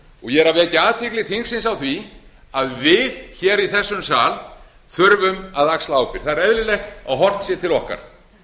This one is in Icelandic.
ég er að vekja athygli þingsins á því að við í þessum sal þurfum að axla ábyrgð það er eðlilegt að horft sé til okkar